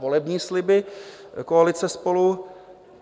Volební sliby koalice SPOLU?